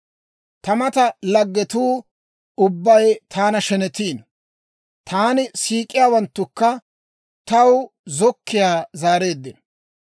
Ta mata laggetsatuu ubbay taana shenetiino; taani siik'iyaawanttukka taw zokkiyaa zaareeddino.